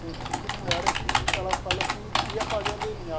Senti que não era, que ela falou que ia fazer o dê ene á.